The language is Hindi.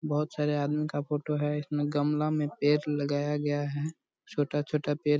बहुत सारे आदमी का फोटो हैं इसमें गमला में पेड़ लगाया गया है छोटा-छोटा पेड़ --